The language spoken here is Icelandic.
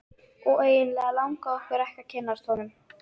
Og eiginlega langaði okkur ekki að kynnast honum.